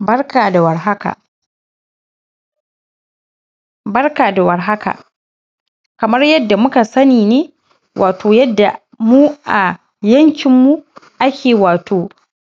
Barka da warhaka. Barka da warhaka. Kaman yadda muka sani wato yadda mu a yankinmu ake wato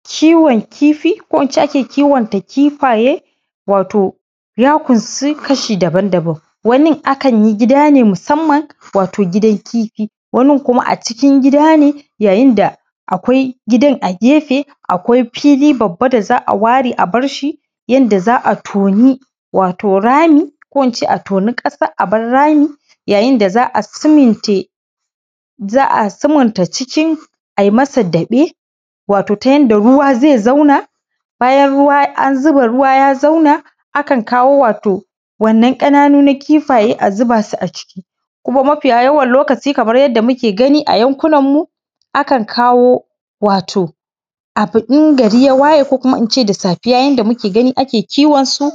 kiwon kifi, ko ince yadda ake kiwonta kifaye, wato ya ƙunsi kashi daban-dabam, wanin akan yi gida ne musamman, wato gidan kifi, wanin kuma a cikin gida ne yayin da akwai gidan a gefe, akwai fili babba da za a ware a barshi yanda za a toni wato rami, in ce a toni ƙasa a bar rami, yayinda za a simente, za a sumunta cikin ai masa daɓe, wato ta yanda ruwa zai zauna, bayan an zuba ruwa ya zauna akan kawo wato wannan ƙananu na kifaye a zuba su a ciki, kuma mafi yawa lokaci kamar yadda muke gani a yankunanmu a kan kawo wato abu in gar ya waye ko kuma ince da safiya, yanda muke gani ake kiwonsu,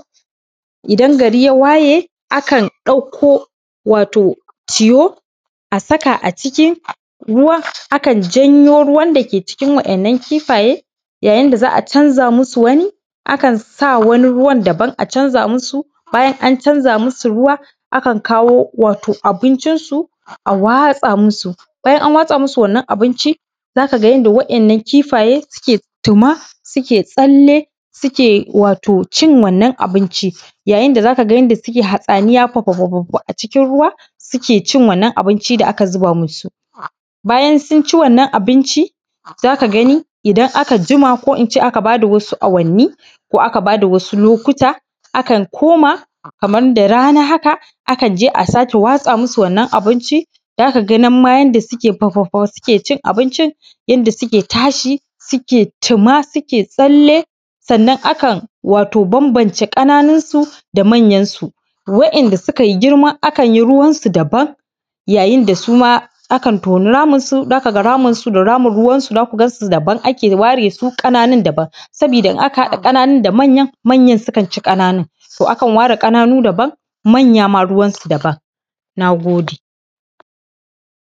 idan gari ya waye akan ɗauko wato tiyo a saka a cikin ruwan, akan janyo ruwan dake cikin wa’innan kifaye, yayinda za a canza musu wani, akan sa wani ruwan dabam a canza musu, bayan an canza musu ruwa, akan kawo wato abincinsu a watsa musu, bayan an watsa musu wannan abinci zaka ka yadda wa’innan kifaye suke tuma, suke tsalle, suke wato cin wannan abinci, yayin da zaka ga yanda suke hatsaniya fafafa a cikin ruwa, suke cin wannan abinci. Bayan sun ci wannan abinci zaka gani idan aka jima ko ince aka bada wasu awanni ko aka bada wasu lokata, akan koma kaman da rana haka akan je a sake watsa musu wannan abinci, zaka ga nan ma yanda suke fafafa suke cin abincin, inda suke tashi, suke tuma, suke tsalle, sannan akan wato bambamce kaninsu da manyan su, wa’inda sukai girma akan yi ruwansu dabam, yayin da suma akan toni ramin su, zaka ga raminsu da ramin ruwan su zaku gansu dabam ake waye su, ƙananun dabam, sabida in aka haƙa ƙananun da manyan, manyan sukan ci ƙananun. To akan ware ƙananu dabam, manyama ruwan dabam. Na gode.s